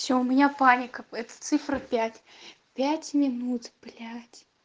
всё у меня паника это цифра пять пять минут блять